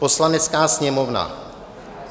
"Poslanecká sněmovna